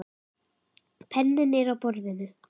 Penninn er á borðinu.